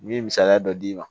N ye misaliya dɔ d'i ma